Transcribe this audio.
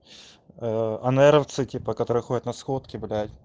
ээ а наверно в цике по которой ходит на сходки блять